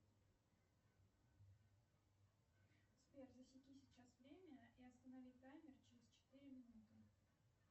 сбер засеки сейчас время и останови таймер через четыре минуты